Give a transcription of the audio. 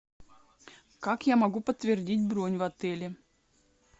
как я могу подтвердить бронь в отеле